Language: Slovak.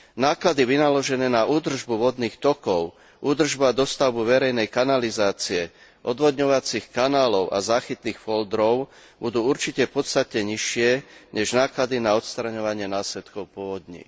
Náklady vynaložené na údržbu vodných tokov, údržbu a dostavbu verejnej kanalizácie, odvodňovacích kanálov a záchytných foldrov budú určite podstatne nižšie než náklady na odstraňovanie následkov povodní.